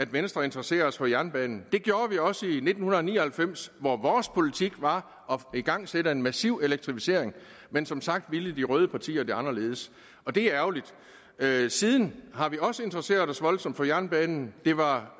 venstre interesserer os for jernbanen det gjorde vi også i nitten ni og halvfems hvor vores politik var at få igangsat en massiv elektrificering men som sagt ville de røde partier det anderledes og det er ærgerligt siden har vi også interesseret os voldsomt for jernbanen det var